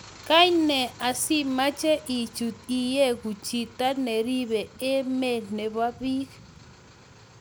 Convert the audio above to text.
Kaine asimeche ichuut iyegu chito neribe emet nebo beek